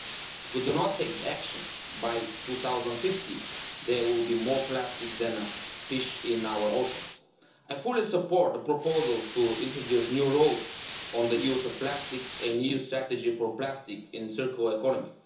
If we do not take action, by 2050 there will be more plastics than fish in our oceans. I fully support the proposals to introduce new rules on the use of plastics and a new strategy for plastic in the circular economy.